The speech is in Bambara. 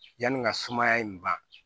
Yanni ka sumaya in ban